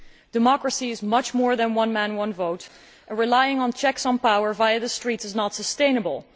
Democracy is much more than one man, one vote', and relying on checks on power via the streets is not sustainable.